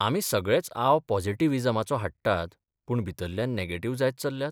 आमी सगळेच आव पॉझिटिव्हिजमाचो हाडटात, पूण भितरल्यान नॅगेटिव्ह जायत चल्ल्यात?